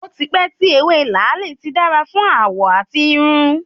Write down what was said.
Ó ti pẹ́ tí ewé làálì ti dára fún àwọ̀ àti irun.